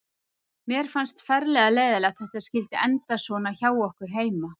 Mér fannst ferlega leiðinlegt að þetta skyldi enda svona hjá okkur heima.